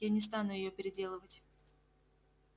я не стану её переделывать